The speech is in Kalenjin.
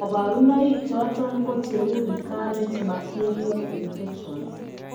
Kabarunaik choton ko cheuu recurrent bacterial infections